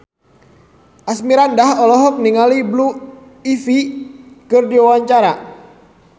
Asmirandah olohok ningali Blue Ivy keur diwawancara